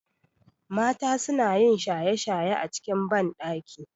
Mata sunayin shaye shaye a cikin banɗaki